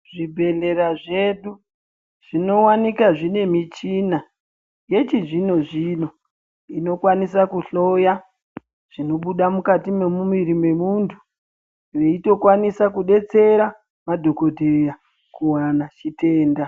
Zvibhedhlera zvedu zvinowanika zvine michina yechizvino zvino inokwanisa kuhloya zvinobuda mukati memumuviri memuntu yeitokwanisa kudetsera madhokodheya kuwana chitenda.